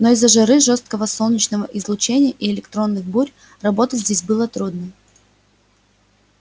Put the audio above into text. но из-за жары жёсткого солнечного излучения и электронных бурь работать здесь было трудно